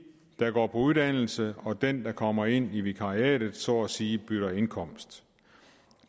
der går på uddannelse og dem der kommer ind i vikariaterne så at sige bytter indkomst